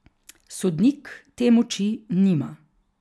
Sodnik te moči nima.